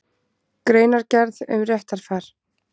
Greinargerð um réttarfar.